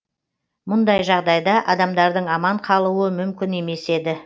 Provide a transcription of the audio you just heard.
мұндай жағдайда адамдардың аман қалуы мүмкін емес еді